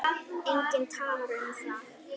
Enginn talar um það.